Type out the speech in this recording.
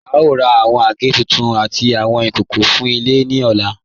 À ń rà awọn agẹ̀ tuntun àtì awọn ikókó fún ilẹ̀ ni ọ̀là.